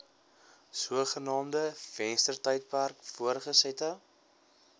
sogenaamde venstertydperk voortgesette